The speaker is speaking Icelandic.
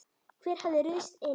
Hver hafði ruðst inn?